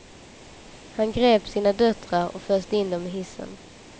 Han grep sina döttrar och föste in dem i hissen.